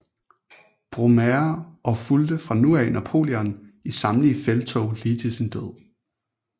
Brumaire og fulgte fra nu af Napoleon i samtlige felttog lige til sin død